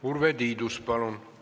Urve Tiidus, palun!